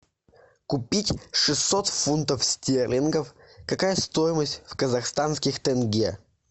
купить шестьсот фунтов стерлингов какая стоимость в казахстанских тенге